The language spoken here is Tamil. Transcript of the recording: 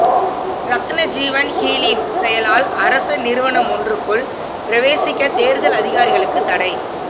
ரத்னஜீவன் ஹூலின் செயலால் அரச நிறுவனமொன்றுக்குள் பிரவேசிக்க தேர்தல் அதிகாரிகளுக்கு தடை